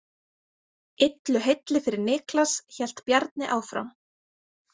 Illu heilli fyrir Niklas, hélt Bjarni áfram.